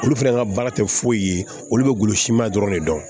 Olu fɛnɛ ka baara tɛ foyi ye olu bɛ golo siman dɔrɔn de dɔn